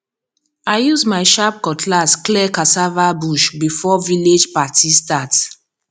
i use my sharp cutlass clear cassava bush before village party start